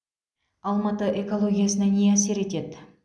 алматы экологиясына не әсер етеді